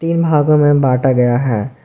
तीन भागों में बांटा गया है।